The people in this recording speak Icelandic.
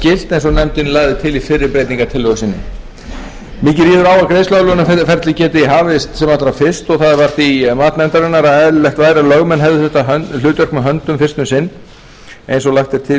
og nefndin lagði til í fyrri breytingartillögu sinni mikið ríður á að greiðsluaðlögunarferlið geti hafist sem allra fyrst það var því mat nefndarinnar að eðlilegt væri að lögmenn hefðu þetta hlutverk með höndum fyrst um sinn eins og lagt er til í